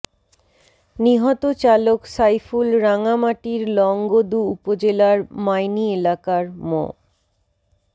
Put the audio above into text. নিহত চালক সাইফুল রাঙামাটির লংগদু উপজেলার মাইনী এলাকার মো